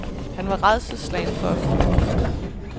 Han er rædselsslagen for at flyve.